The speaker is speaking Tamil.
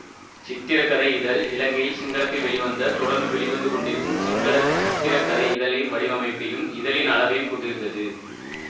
சித்திரக்கதை இதழ் இலங்கையில் சிங்களத்தில் வெளிவந்த தொடர்ந்தும் வெளிவந்துக்கொண்டிருக்கும் சிங்கள சித்திரைக்கதை இதழின் வடிவமைப்பையும் இதழின் அளவையும் கொண்டிருந்தது